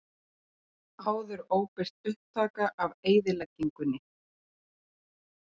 Áður óbirt upptaka af eyðileggingunni